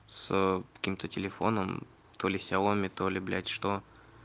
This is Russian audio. с каким-то телефоном то ли ксиаоми то ли блять что